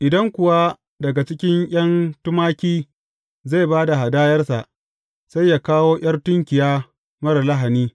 Idan kuwa daga cikin ’yan tumaki zai ba da hadayarsa, sai ya kawo ’yar tunkiya marar lahani.